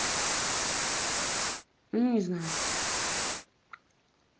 ну не знаю